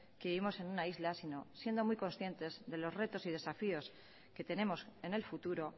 que vivimos en una isla sino siendo muy conscientes de los retos y desafíos que tenemos en el futuro